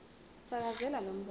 fakazela lo mbono